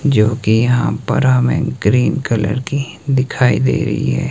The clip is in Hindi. जो कि यहां बड़ा में ग्रीन कलर की दिखाई दे रही है।